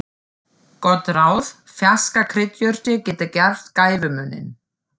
Gott ráð: Ferskar kryddjurtir geta gert gæfumuninn.